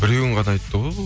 біреуін ғана айтты ғой бұл